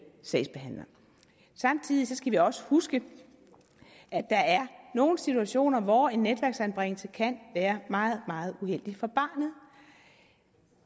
sagsbehandler samtidig skal vi også huske at der er nogle situationer hvor en netværksanbringelse kan være meget meget uheldig for barnet